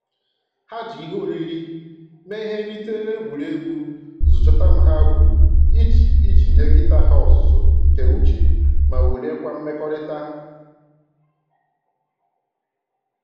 Ha ji ihe oriri mee ihe nrite n'egwuregwu zoo chọtam ha gwuru iji iji nye nkịta ha ọzụzụ nke uche ma wuliekwa mmekọrịta